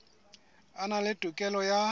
a na le tokelo ya